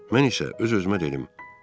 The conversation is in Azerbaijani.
Mən isə öz-özümə dedim: